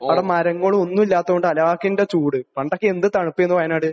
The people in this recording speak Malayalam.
അവിടെ മരങ്ങളും ഒന്നും ഇല്ലാത്തത് കൊണ്ട് ഹലാക്കിന്റെ ചൂട്. പണ്ടൊക്കെ എന്ത് തണുപ്പായിരുന്നു വയനാട്.